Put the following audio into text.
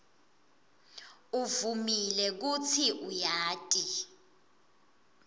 uvumile kutsi uyati